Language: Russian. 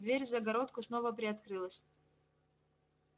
дверь в загородку снова приоткрылась